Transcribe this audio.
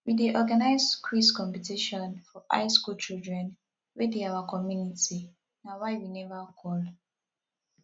we dey organize quiz competition for high school children wey dey our community na why we never call